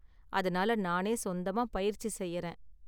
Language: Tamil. அதனால நானே சொந்தமா பயிற்சி செய்யறேன்.